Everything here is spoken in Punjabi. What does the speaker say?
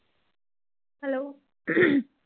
Hello